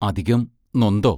അധികം നൊന്തോ?